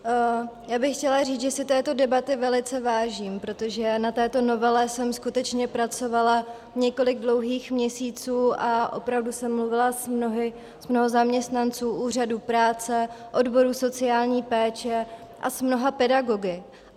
Já bych chtěla říct, že si této debaty velice vážím, protože na této novele jsem skutečně pracovala několik dlouhých měsíců a opravdu jsem mluvila s mnoha zaměstnanci úřadů práce, odborů sociální péče a s mnoha pedagogy.